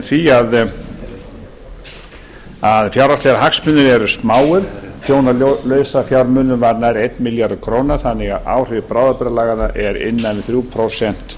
því að fjárhagslegir hagsmunir eru smáir tjón á lausafjármunum varð nærri einn milljarður króna þannig að áhrif bráðabirgðalaganna er innan við þrjú prósent